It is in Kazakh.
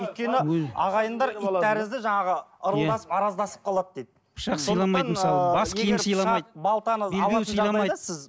өйткені ағайындар ит тәрізді жаңағы ырылдасып араздасып қалады дейді